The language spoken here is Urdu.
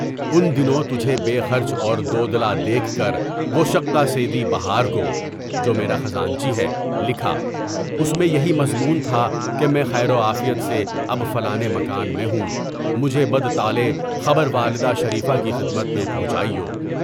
اُن دنوں تجھے بے خرچ اور دو دل دیکھ کر وہ شقّہ سیدی بہار کو (جو میرے خزانچی ہے) لکھا، اُس میں یہی مضمون تھا کہ میں خیر و عافیت سے اب فلانے مکان میں ہوں۔ مجھ بد طالع کو والدہ شریفہ کی خدمت میں پہنچائیو۔